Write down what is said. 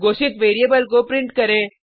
घोषित वेरिएबल को प्रिंट करें